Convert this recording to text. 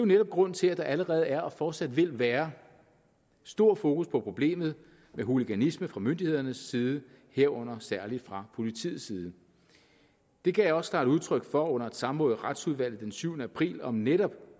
netop grunden til at der allerede er og fortsat vil være stor fokus på problemet med hooliganisme fra myndighedernes side herunder særligt fra politiets side det gav jeg også klart udtryk for under et samråd i retsudvalget den syvende april om netop